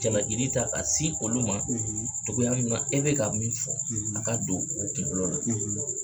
Jaliki ta k'a se olu ma cogoya min na e bɛ ka min fɔ a ka don u kunkolo la